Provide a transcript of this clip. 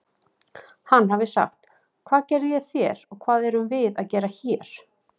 Hann hafi sagt: Hvað gerði ég þér og hvað erum við að gera hér?